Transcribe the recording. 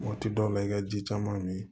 Waati dɔw la i ka ji caman mi